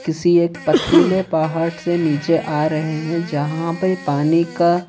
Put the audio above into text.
किसी एक पथरीले पहाड़ से नीचे आ रहे हैं जहां पे पानी का--